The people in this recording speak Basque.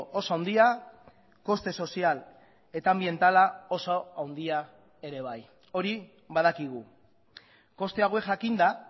oso handia koste sozial eta anbientala oso handia ere bai hori badakigu koste hauek jakinda